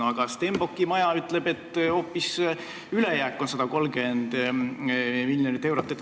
Aga Stenbocki maja ütleb, et on hoopis 130 miljonit eurot ülejääki.